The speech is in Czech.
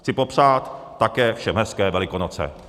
Chci popřát také všem hezké Velikonoce.